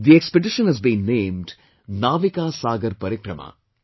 The expedition has been named, Navika Sagar Parikrama